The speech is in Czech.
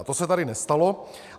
A to se tady nestalo.